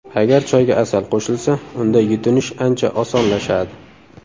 Agar choyga asal qo‘shilsa, unda yutinish ancha osonlashadi.